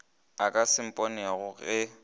a ka se mponego ge